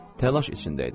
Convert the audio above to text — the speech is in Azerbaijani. Təlaş içində idi.